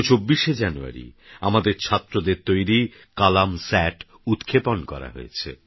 গত২৪শেজানুয়ারিআমাদেরছাত্রদেরতৈরি কলামস্যাটউৎক্ষেপণকরাহয়েছে